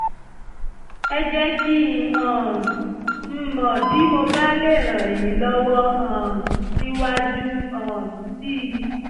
ẹ jẹ́ kí um n mọ̀ bí mo bá lè ràn yín lọ́wọ́ um síwájú um sí i